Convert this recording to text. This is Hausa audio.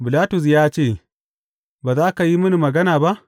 Bilatus ya ce, Ba za ka yi mini magana ba?